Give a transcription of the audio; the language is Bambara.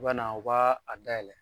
U bɛna u b'a a dayɛlɛn